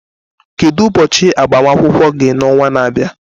Kedu ụbọchị agbamakwụkwọ gị n'ọnwa na-abịa?